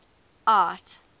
art